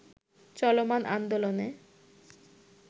চলমান আন্দোলনে